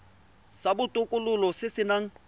sa botokololo se se nang